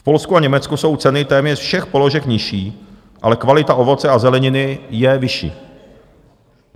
V Polsku a Německu jsou ceny téměř všech položek nižší, ale kvalita ovoce a zeleniny je vyšší.